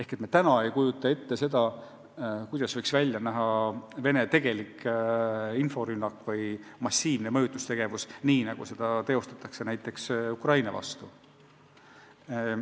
Seega me ei kujuta praegu ette, kuidas võiks välja näha Venemaa tegelik inforünnak või massiivne mõjutustegevus, nii nagu seda teostatakse näiteks Ukraina vastu.